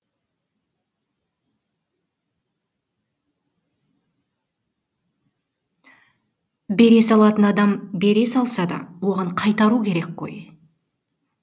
бере салатын адам бере салса да оған қайтару керек қой